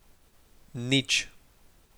Nič.